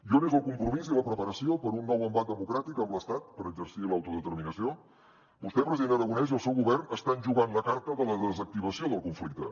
i on és el compromís i la preparació per a un nou embat democràtic amb l’estat per exercir l’autodeterminació vostè president aragonès i el seu govern estan jugant la carta de la desactivació del conflicte